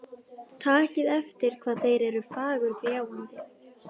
Takið eftir hvað þeir eru fagurgljáandi.